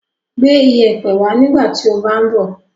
Gbé ìyẹ̀pẹ̀ wá nígbà tí o bá ń bọ̀.